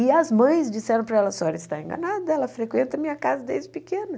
E as mães disseram para ela, a senhora está enganada, ela frequenta a minha casa desde pequena.